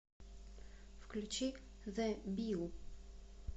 включи зе билл